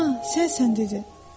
Aha, sən sənsən dedi.